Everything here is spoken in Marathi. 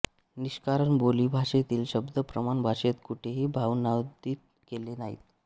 निष्कारण बोली भाषेतील शब्द प्रमाण भाषेत कुठेही भावानुवादित केले नाहीत